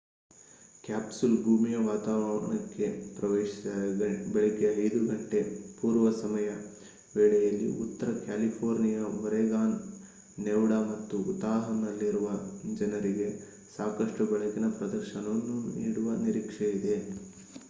capsule ಭೂಮಿಯ ವಾತಾವರಣಕ್ಕೆ ಪ್ರವೇಶಿಸಿದಾಗ ಬೆಳಿಗ್ಗೆ 5 ಗಂಟೆ ಪೂರ್ವ ಸಮಯ ವೇಳೆಯಲ್ಲಿ ಉತ್ತರ ಕ್ಯಾಲಿಫೋರ್ನಿಯಾ ಒರೆಗಾನ್ ನೆವಾಡಾ ಮತ್ತು ಉತಾಹ್‌ನಲ್ಲಿರುವ ಜನರಿಗೆ ಸಾಕಷ್ಟು ಬೆಳಕಿನ ಪ್ರದರ್ಶನವನ್ನು ನೀಡುವ ನಿರೀಕ್ಷೆಯಿದೆ